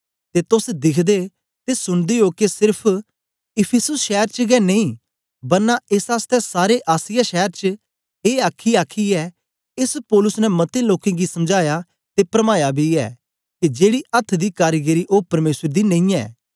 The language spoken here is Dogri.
ते तोस दिखदे ते सुनदे ओ के सेर्फ इफिसुस शैर च गै नेई बरना एस आसतै सारे आसिया शैर च ए आखी आखीयै एस पौलुस ने मतें लोकें गी समझाया ते परमाया बी ऐ के जेड़ी अथ्थ दी कारीगरी ओ परमेसर दी नेईयैं